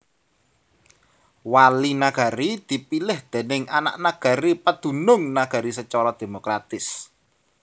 Wali Nagari dipilih déning anak nagari padunung nagari sacara demokratis